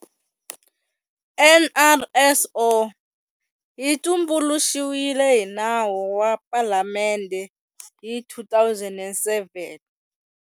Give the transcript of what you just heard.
NRSO yi tumbuluxiwile hi Nawu wa Palamende hi 2007.